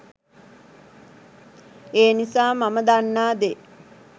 ඒ නිසා මම දන්නා දේ